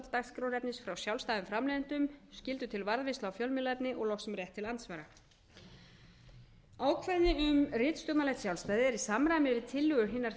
dagskrárefnis frá sjálfstæðum framleiðendum skyldu til varðveislu á fjölmiðlaefni og loks um rétt til andsvara katrín klárar ekki hér það er í samræmi við tillögu hinna